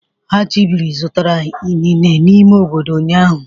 Achibiri zụtara inine n'ime obodo ụnyahụ.